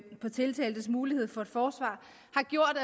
på tiltaltes mulighed for et forsvar